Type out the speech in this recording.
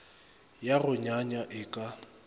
ya go nyanya e ka